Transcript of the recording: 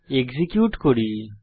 execute করি